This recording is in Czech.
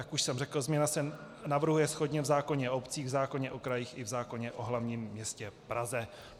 Jak už jsem řekl, změna se navrhuje shodně v zákoně o obcích, v zákoně o krajích i v zákoně o hlavním městě Praze.